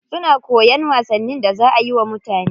Suna koyan wasannin da za ayi wa mutane.